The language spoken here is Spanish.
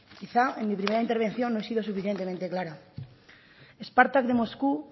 quizá en mi primera intervención no he sido lo suficientemente clara spartak de moscú